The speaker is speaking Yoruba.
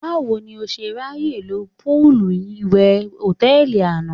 Báwo ni o ṣe ráyè lo póòlù ìwẹ̀ hòtẹ́ẹ̀lì àná?